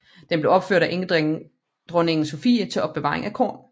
Den blev opført af enkedronning Sophie til opbevaring af korn